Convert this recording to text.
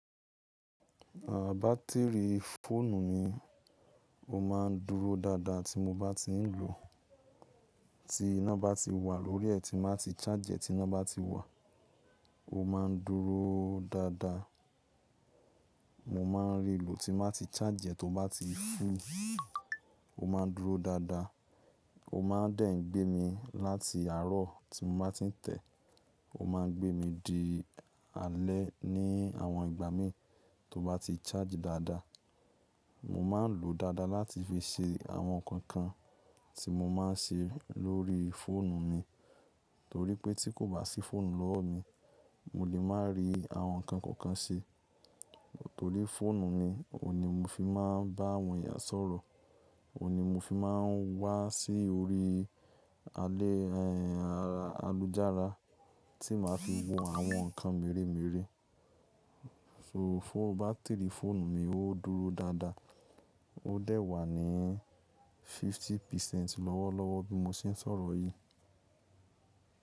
À, bátìrì fóònù mi ó máa ń dúró dáadáa tí mo bá ti ń lò ó. Tí iná bá ti wà lórí ẹ̀ tí n bá ti charge ẹ̀, tí iná bá ti wà ó máa ń dúró dáadáa. Mo máa ń rí lò ti máa ti n ba ti charge e tó bá ti full, ó máa ń dúró dáadáa. Ó máa ń dẹ̀ ń gbé mi láti àárọ̀ tí mo bá ti ń tẹ̀. Ó máa ń gbé mi di alẹ́ ní àwọn ìgbà mí tó bá ti charge dáadáa. Mo máa ń lò ó dáadáa láti fi ṣe àwọn nǹkan kan tí mo máa ń ṣe lórí fóònù mi. Torí pé tí kò bá sí fóònù lọ́wọ́ mi, mo lè má rí àwọn nǹkan kọ̀ọ̀kan ṣe. Torí fóònù mi òuní mo fi máa ń bá àwọn èèyàn sọ̀rọ̀, òuní mo fi máa ń wà sí orí alẹ́, ẹ́, alujára tí màá fi wo àwọn nǹkan merè merè. So fóò, bátìrì fóònù mi ó dúró dáadáa. Ó dẹ̀ wà ní fifty percent lọ́wọ́lọ́wọ́ bí mo ṣe ń sọ̀rọ̀ yìí.